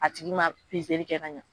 A tigi ma kɛ ka ɲɛ.